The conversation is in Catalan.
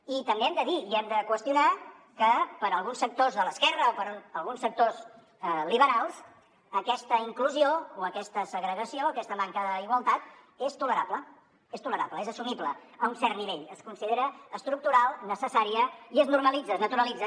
i també hem de dir i hem de qüestionar que per a alguns sectors de l’esquerra o per a alguns sectors liberals aquesta inclusió o aquesta segregació aquesta manca d’igualtat és tolerable és tolerable és assumible a un cert nivell es considera estructural necessària i es normalitza es naturalitza